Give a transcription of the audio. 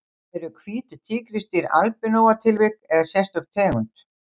Eru hvít tígrisdýr albinóa tilvik eða sérstök tegund?